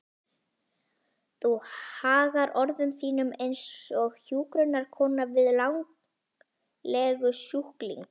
Þú hagar orðum þínum einsog hjúkrunarkona við langlegusjúkling.